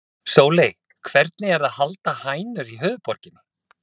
Sóley, hvernig er að halda hænur í höfuðborginni?